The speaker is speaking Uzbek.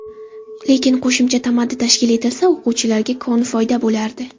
Lekin qo‘shimcha tamaddi tashkil etilsa, o‘quvchilarga koni foyda bo‘lardi.